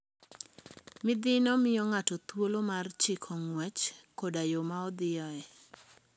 Midhino miyo ng'ato thuolo mar chiko ng'wech koda yo ma odhiyoe.